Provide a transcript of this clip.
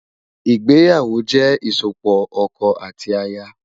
Igbéyáwó jè isópò òkò áti àyá